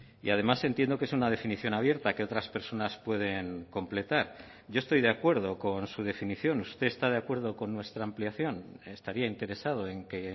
y además entiendo que es una definición abierta que otras personas pueden completar yo estoy de acuerdo con su definición usted está de acuerdo con nuestra ampliación estaría interesado en que